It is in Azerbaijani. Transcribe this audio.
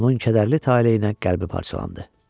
Onun kədərli taleyinə qəlbi parçalandı.